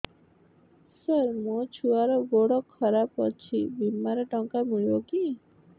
ସାର ମୋର ଛୁଆର ଗୋଡ ଖରାପ ଅଛି ବିମାରେ ଟଙ୍କା ମିଳିବ କି